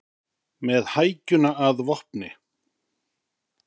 Með hækjuna að vopni